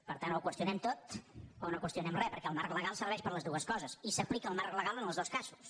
per tant o ho qüestionem tot o no qüestionem re perquè el marc le·gal serveix per a totes dues coses i s’aplica el marc legal en tots dos casos